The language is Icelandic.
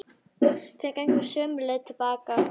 Þeir gengu sömu leið til baka.